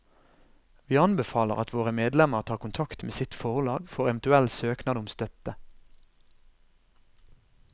Vi anbefaler at våre medlemmer tar kontakt med sitt forlag for eventuell søknad om støtte.